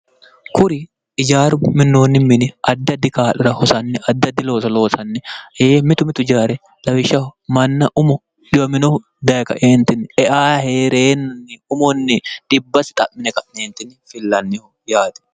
kuri ijaaru minoonni mini adda di kaa'ira hosanni adda di looso loosanni yee mitu mitu jaare lawishshaho manna umo diwominohu dayi kaeentinni eahereennnni umonni dibbasi xa'mine ka'neentini fillannihu yaati